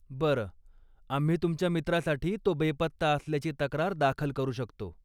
बरं, आम्ही तुमच्या मित्रासाठी तो बेपत्ता असल्याची तक्रार दाखल करू शकतो.